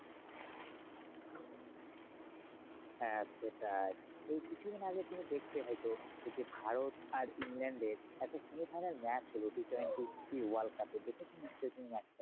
হ্যাঁ সেটাই, এই কিছুদিন আগে তুমি দেখবে হয়তো ওই যে ভারত আর ইংল্যান্ডের একটা semi final match হলো Ttwenty world cup এ দেখেছো নিশ্চই তুমি match টা?